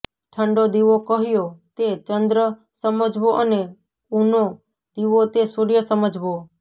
ઠંડો દીવો કહ્યો તે ચંદ્ર સમજવો અને ઉનો દીવો તે સૂર્ય સમજવો